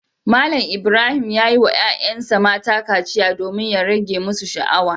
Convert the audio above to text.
Malam Ibrahim ya yi wa ‘ƴa’ƴansa mata kaciya domin ya rage musu sha’awa.